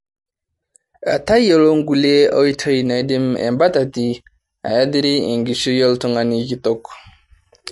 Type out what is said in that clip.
Tayiolo nkulie oitoi naidim embatati ayathiri enkishui oltung'ani kitok.